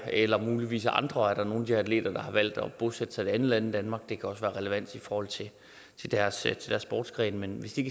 jeg eller muligvis af andre årsager er der nogle af de atleter der har valgt at bosætte sig i et andet land end danmark det kan også være relevant i forhold til deres sportsgren men hvis de